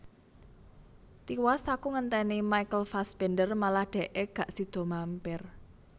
Tiwas aku ngenteni Michael Fassbender malah dekke gak sido mampir